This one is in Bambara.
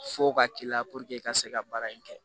F'o ka k'i la i ka se ka baara in kɛ